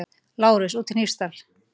LÁRUS: Úti í Hnífsdal!